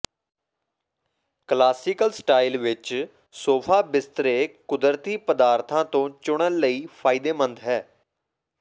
classical style ਵਿਚ sofa ਬਿਸਤਰੇ ਕੁਦਰਤੀ ਪਦਾਰਥਾਂ ਤੋਂ ਚੁਣਨ ਲਈ ਫਾਇਦੇਮੰਦ ਹੈ